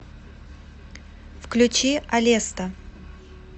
включи алеста